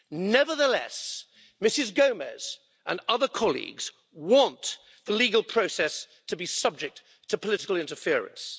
Nevertheless, Ms Gomes and other colleagues want the legal process to be subject to political interference.